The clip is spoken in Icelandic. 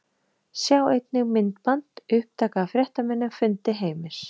Sjá einnig: Myndband: Upptaka af fréttamannafundi Heimis